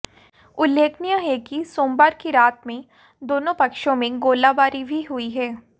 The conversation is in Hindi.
उल्लेखनीय है कि सोमवार की रात में दोनों पक्षों में गोलाबारी भी हुई है